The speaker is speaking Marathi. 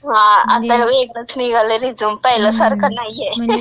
हां, आता वेगळंच निघालंय रिझ्यूम. पहिल्यासारखं नाहीये. ter